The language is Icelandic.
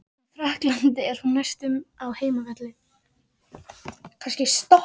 Í Frakklandi er hún næstum á heimavelli.